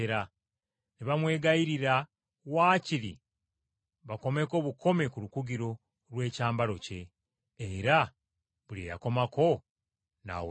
Ne bamwegayirira waakiri bakomeko bukomi ku lukugiro lw’ekyambalo kye, era buli eyakomako n’awonyezebwa.